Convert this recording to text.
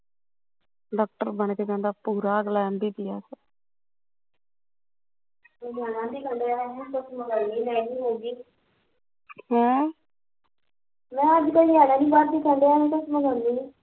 doctor ਬਣਕੇ ਜਾਂਦਾ ਅਗਲਾ ਪੂਰਾ MBBS ਨਿਆਣਾ ਨੀ ਟਿਕਣ ਡੀਆ ਮੈਂ ਗਰਮੀ ਗਰਮੀ ਹੋਗੀ ਮੈਂ ਕਿਹਾਂ ਅੱਜ ਕੱਲ ਨਿਆਣਾ ਨੀ ਬਾਹਰ ਦੀ ਖਾਂਦਾ ਹੁਣ ਮਗਾਉਂਦੀ ਆ